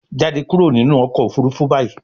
jáde kúrò nínú ọkọ̀ òfurufú bayí